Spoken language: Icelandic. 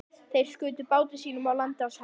Þeir skutu báti sínum á land á Selnesi.